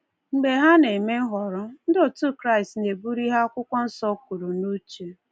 Mgbe ha na-eme nhọrọ, ndị otu Kraịst na-eburu ihe Akwụkwọ Nsọ kwuru n’uche.